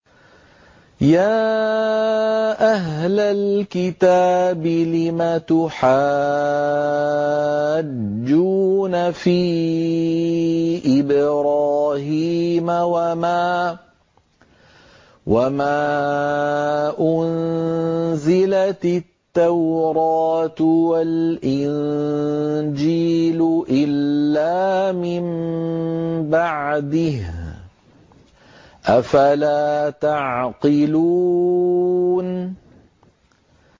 يَا أَهْلَ الْكِتَابِ لِمَ تُحَاجُّونَ فِي إِبْرَاهِيمَ وَمَا أُنزِلَتِ التَّوْرَاةُ وَالْإِنجِيلُ إِلَّا مِن بَعْدِهِ ۚ أَفَلَا تَعْقِلُونَ